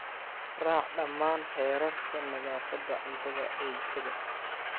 Raac dhammaan xeerarka nadaafadda cuntada ee jikada.